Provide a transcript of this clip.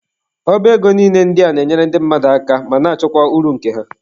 Ọba ego niile ndị a na-enyere ndị mmadụ aka ma na-achọkwa uru nke ha.